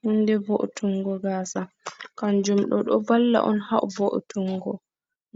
Hunde vo’tungo gasa kanjum ɗo, ɗo valla on ha vo’tungo